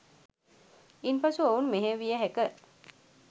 ඉන් පසු ඔවුන් මෙහෙය විය හැක